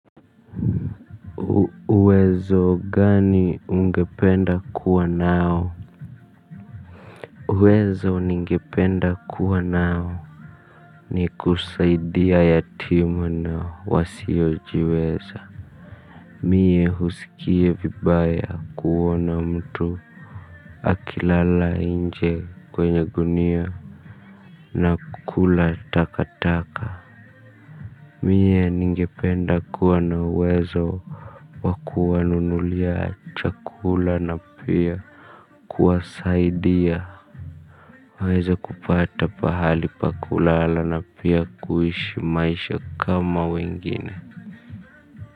Uwezo gani ungependa kuwa nao? Uwezo ningependa kuwa nao. Ni kusaidia yatima na wasiojiweza. Mie husikie vibaya kuona mtu akilala nje kwenye gunia. Nakula taka taka. Mie ningependa kuwa na uwezo wakuwanunulia chakula na pia Kuwasaidia Waize kupata pahali pakulala. Na pia kuishi maisha kama wengine.